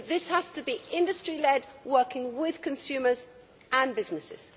But this has to be industry led, working with consumers and businesses.